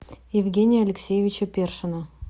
евгения алексеевича першина